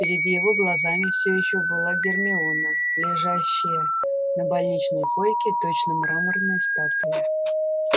перед его глазами всё ещё была гермиона лежащая на больничной койке точно мраморная статуя